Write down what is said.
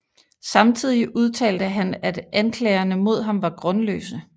Samtidig udtalte han at anklagerne mod ham var grundløse